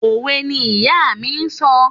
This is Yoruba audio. Òwe ni ìyá mi ń sọ.